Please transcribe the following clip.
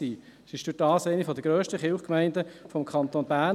Dadurch wurden diese zu einer der grössten Kirchgemeinden des Kantons Bern.